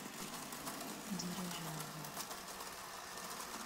дирижабль